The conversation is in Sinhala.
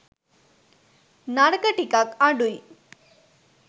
නරක ටිකක් අඩුයි.